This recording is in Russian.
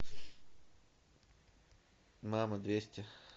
мама двести